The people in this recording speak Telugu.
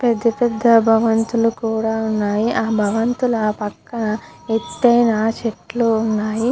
పెద్ద పెద్ద భవంతులు కూడా ఉన్నాయి. ఆ భగవంతుని పక్క ఎత్తయిన చెట్లు ఉన్నాయి.